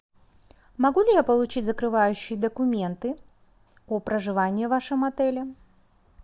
могу ли я получить закрывающие документы о проживании в вашем отеле